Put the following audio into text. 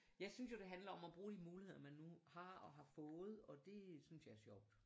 Jeg synes jo det handler om og bruge de muligheder man nu har og har fået og det synes jeg er sjovt